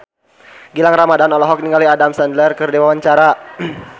Gilang Ramadan olohok ningali Adam Sandler keur diwawancara